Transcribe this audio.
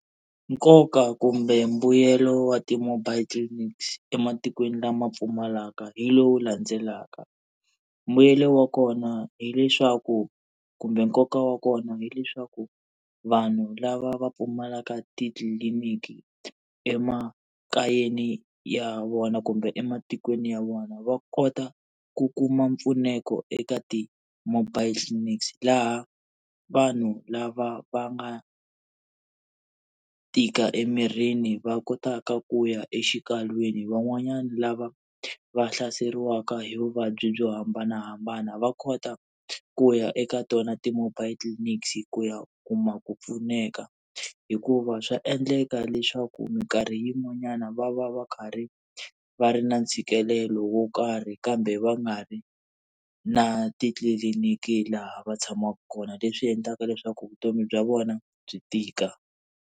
Nkoka kumbe mbuyelo wa ti-mobile clinics ematikweni lama pfumalaka hi lowu landzelaka. Mbuyelo wa kona hileswaku kumbe nkoka wa kona hi eswaku vanhu lava va pfumalaka titliliniki emakayeni ya vona kumbe ematikweni ya vona va kota ku kuma mpfuneko eka ti-mobile clinics, laha vanhu lava va nga tika emirini va kotaka ku ya exikalwini, van'wanyana lava va hlaseriwaka hi vuvabyi byo hambanahambana va kota ku ya eka tona ti-mobile clinics ku ya u kuma ku pfuneka. Hikuva swa endleka leswaku minkarhi yin'wanyana va va va karhi va ri na ntshikelelo wo karhi kambe va nga ri na titliliniki laha va tshamaka kona, leswi endlaka leswaku vutomi bya vona byi tika.